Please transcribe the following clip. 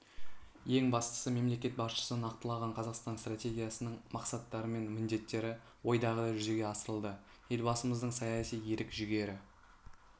ең бастысы мемлекет басшысы нақтылаған қазақстан стратегиясының мақсаттары мен міндеттері ойдағыдай жүзеге асырылды елбасымыздың саяси ерік-жігері